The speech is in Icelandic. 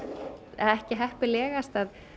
ekki heppilegast að